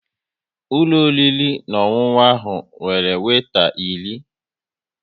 Ụlọ oriri na ọṅụṅụ ahụ nwere weeta iri